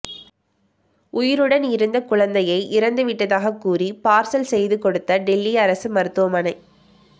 உயிருடன் இருந்த குழந்தையை இறந்துவிட்டதாக கூறி பார்சல் செய்து கொடுத்த டெல்லி அரசு மருத்துவமனை